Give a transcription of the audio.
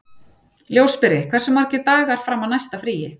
Ljósberi, hversu margir dagar fram að næsta fríi?